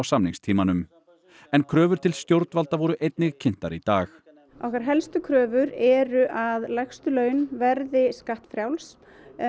samningstímanum en kröfur til stjórnvalda voru einnig kynntar í dag okkar helstu kröfur eru að lægstu laun verði skattfrjáls